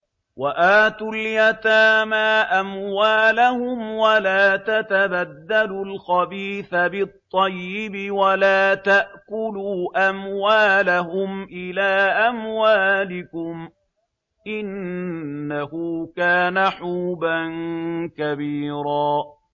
وَآتُوا الْيَتَامَىٰ أَمْوَالَهُمْ ۖ وَلَا تَتَبَدَّلُوا الْخَبِيثَ بِالطَّيِّبِ ۖ وَلَا تَأْكُلُوا أَمْوَالَهُمْ إِلَىٰ أَمْوَالِكُمْ ۚ إِنَّهُ كَانَ حُوبًا كَبِيرًا